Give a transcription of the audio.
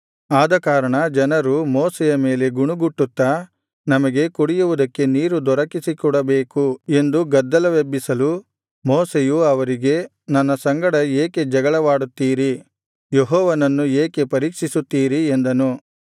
ಆದಕಾರಣ ಜನರು ಮೋಶೆಯ ಮೇಲೆ ಗುಣುಗುಟ್ಟುತ್ತಾ ನಮಗೆ ಕುಡಿಯುವುದಕ್ಕೆ ನೀರು ದೊರಕಿಸಿಕೊಡಬೇಕು ಎಂದು ಗದ್ದಲವೆಬ್ಬಿಸಲು ಮೋಶೆಯು ಅವರಿಗೆ ನನ್ನ ಸಂಗಡ ಏಕೆ ಜಗಳವಾಡುತ್ತೀರಿ ಯೆಹೋವನನ್ನು ಏಕೆ ಪರೀಕ್ಷಿಸುತ್ತೀರಿ ಎಂದನು